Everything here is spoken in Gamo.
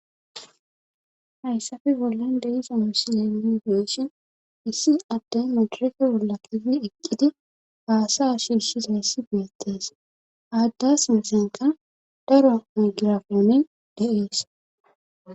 Hayssafe bollan deisa musileifeeshin issi atten midirefe bolla kigi eqqidi paasa ashirshisayssi beettees aadda sinsenka daro migirafoone de7ees.